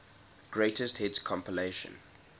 greatest hits compilation